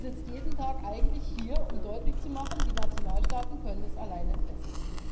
Die sitzt jeden Tag eigentlich hier, um deutlich zu machen Die Nationalstaaten können es alleine besser.